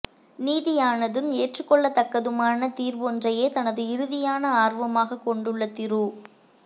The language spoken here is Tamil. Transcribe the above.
நீதியானதும் ஏற்றுக்கொள்ளத் தக்கதுமான தீர்வொன்றையே தனது இறுதியான ஆர்வமாகக் கொண்டுள்ள திரு